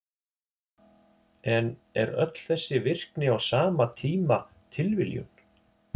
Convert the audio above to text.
En er öll þessi virkni á sama tíma tilviljun?